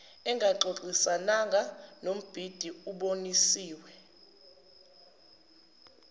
ingaxoxisana nombhidi obonisiwe